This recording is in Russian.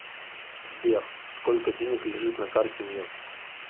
сбер сколько денег лежит на карте мир